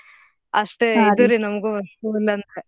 ಅಷ್ಟೇ ನಮ್ಗೂ school ಅಂದ್ರ.